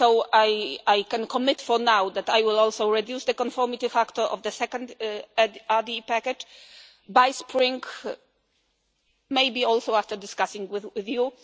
I can commit for now that I will also reduce the conformity factor of the second RDE package by the spring, maybe also after discussing it with